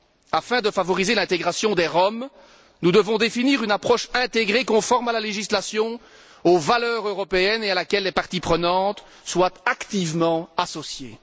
Afin de favoriser l'intégration des Roms, nous devons définir une approche intégrée conforme à la législation, aux valeurs européennes et à laquelle les parties prenantes soient activement associées.